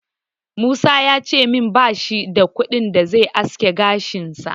Musa ya ce min bash da kuɗin da zai aske gashinsa.